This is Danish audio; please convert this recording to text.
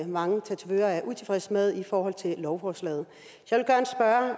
mange tatovører er utilfredse med i forhold til lovforslaget